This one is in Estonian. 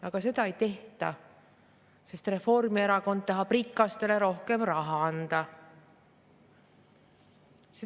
Aga seda ei tehta, sest Reformierakond tahab rikastele rohkem raha anda.